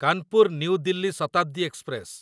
Kanpur new Delhi Shatabdi express